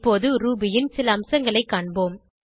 இப்போது ரூபி ன் சில அம்சங்களை காண்போம்